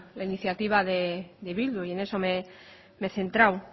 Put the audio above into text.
la iniciativa de bildu y en eso me he centrado